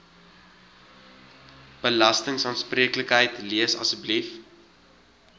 belastingaanspreeklikheid lees asseblief